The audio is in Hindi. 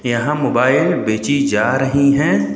यहां मोबाइल बेची जा रही है।